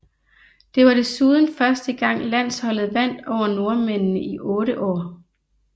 Det var desuden første gang landsholdet vandt over nordmændene i 8 år